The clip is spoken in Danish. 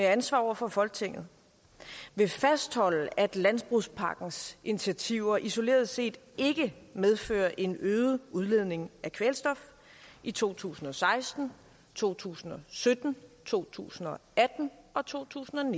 ansvar over for folketinget vil fastholde at landbrugspakkens initiativer isoleret set ikke medfører en øget udledning af kvælstof i to tusind og seksten to tusind og sytten to tusind og atten og totusinde